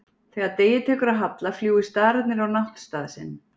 Þegar degi tekur að halla fljúga stararnir á náttstað sinn.